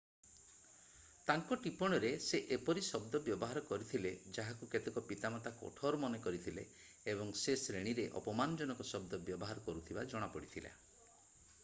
ତାଙ୍କ ଟିପ୍ପଣୀରେ ସେ ଏପରି ଶବ୍ଦ ବ୍ୟବହାର କରିଥିଲେ ଯାହାକୁ କେତେକ ପିତାମାତା କଠୋର ମନେ କରିଥିଲେ ଏବଂ ସେ ଶ୍ରେଣୀରେ ଅପମାନଜନକ ଶବ୍ଦ ବ୍ୟବହାର କରୁଥିବା ଜଣାପଡ଼ିଥିଲା